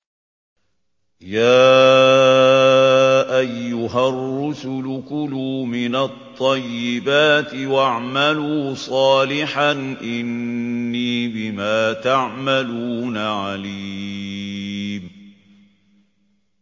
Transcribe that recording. يَا أَيُّهَا الرُّسُلُ كُلُوا مِنَ الطَّيِّبَاتِ وَاعْمَلُوا صَالِحًا ۖ إِنِّي بِمَا تَعْمَلُونَ عَلِيمٌ